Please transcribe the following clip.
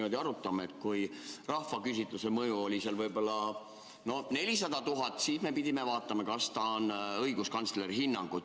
Kui me arutame eelnõu mõju, siis kui rahvaküsitluse eelnõu mõju oli võib-olla 400 000, siis me pidime vaatama, et meil oleks õiguskantsleri hinnang.